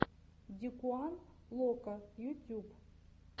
дикуан локо ютьюб